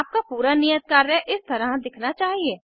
आपका पूरा नियत कार्य इस तरह दिखना चाहिए